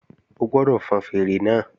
O gbọ́dọ̀ fọn fèèrè náà